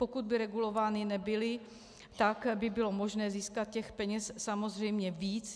Pokud by regulovány nebyly, tak by bylo možné získat těch peněz samozřejmě víc.